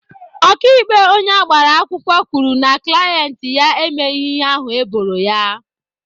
Ọkaikpe onye agbara akwụkwọ kwuru na klaint ya emeghị ihe ahụ eboro ya.